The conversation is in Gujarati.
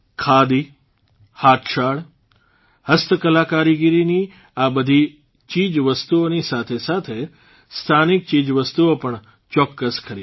ખાદી હાથશાળ હસ્તકલાકારીગરીની આ બધી ચીજવસ્તુઓની સાથે સાથે સ્થાનિક ચીજવસ્તુઓ પણ ચોક્કસ ખરીદીએ